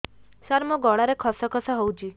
ସାର ମୋ ଗଳାରେ ଖସ ଖସ ହଉଚି